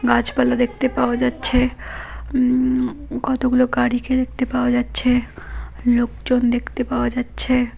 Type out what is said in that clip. গাছপালা দেখতে পাওয়া যাচ্ছে হা উম কতগুলো গাড়িকে দেখতে পাওয়া যাচ্ছে লোকজন দেখতে পাওয়া যাচ্ছে।